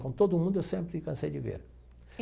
Com todo mundo, eu sempre cansei de ver.